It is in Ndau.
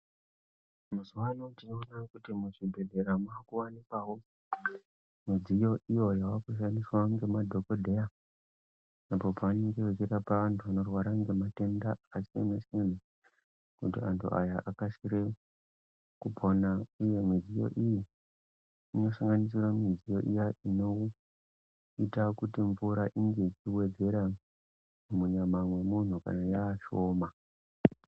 Mazuwa ano tinoona kuti muzvibhedhlera makuwanikwawo midziyo iyo yava kushandiswa ngemadhokodheya apo pavanenge vachirapa vantu vanorwara ngematenda akasiyana-siyana kuti antu aya akasire kupona. Iyo midziyo iyi inosanganisira midziyo iya inoita kuti mvura inge ichiwedzera munyama mwemuntu kana yaashoma.